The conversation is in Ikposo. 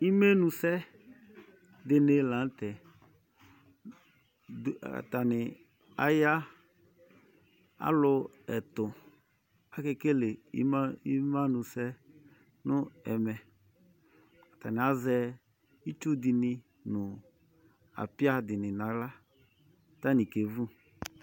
Imenu sɛ dini la nutɛ atani aya alu ɛtu akekele imenu sɛ nu ɛmɛ atani azɛ itsudini nu apia dini naɣla katani ke nya ɔfi